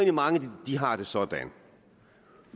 at mange har det sådan